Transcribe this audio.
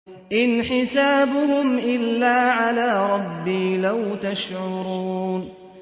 إِنْ حِسَابُهُمْ إِلَّا عَلَىٰ رَبِّي ۖ لَوْ تَشْعُرُونَ